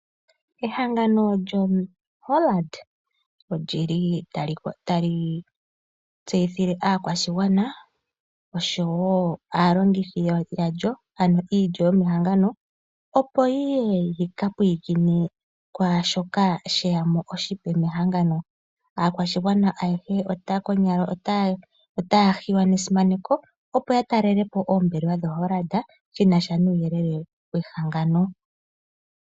Ehangano lyoHollard otali tseyithile aakwashigwana oshowo aalongithi yandjo ano iilyo yomehangano opo yiye yika pulikine kwashoka sheyamo oshipe mehangano. Aakwashigwana ayehe konyala otaya hiwa nesimaneko opo ya talelepo oombelewa dhoHollard shinasha nuuyelele wehangano.